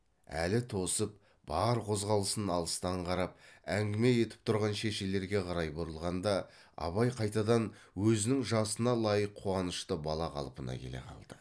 әлі тосып бар қозғалысын алыстан қарап әңгіме етіп тұрған шешелерге қарай бұрылғанда абай қайтадан өзінің жасына лайық қуанышты бала қалпына келе қалды